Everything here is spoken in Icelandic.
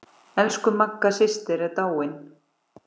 Elsku Magga systir er dáin.